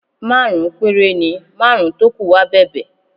Márùn-ún péré ni, márùn-ún tó kù wá bẹ̀bẹ̀